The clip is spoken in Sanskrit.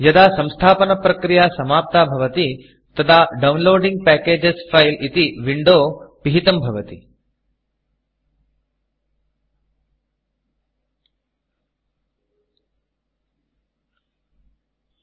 यदा संस्थापनप्रक्रिया समाप्ता भवति तदा डाउनलोडिंग पैकेज Fileडौन्लोडिन्ग् पेकेजस् फैल् इति Windowविण्डो पिहितं भवति